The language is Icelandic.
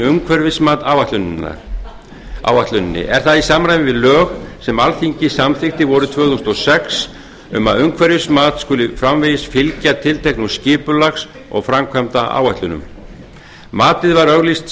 umhverfismat áætluninni er það í samræmi við lög sem alþingi samþykkti vorið tvö þúsund og sex um að umhverfismat skuli framvegis fylgja tilteknum skipulags og framkvæmdaáætlunum matið var auglýst